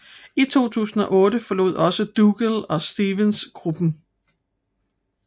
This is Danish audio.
I 2008 forlod også Dougall og Stephens gruppen